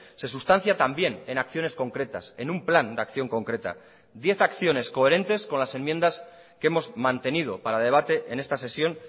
se sustancia también en acciones concretas en un plan de acción concreta diez acciones coherentes con las enmiendas que hemos mantenido para debate en esta sesión